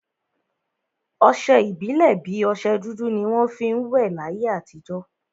Ọsẹ ìbílè bi ọsẹ dúdú ni wọn fi ń will láyé àtijọ́